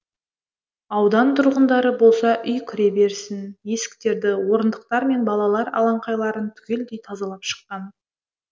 аудан тұрғындары болса үй кіреберісін есіктерді орындықтар мен балалар алаңқайларын түгелдей тазалап шыққан